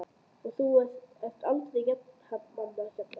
Og þú ert aldrei einmana hérna?